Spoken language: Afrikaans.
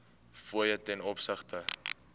fooie ten opsigte